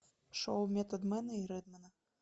шоу методмена и редмена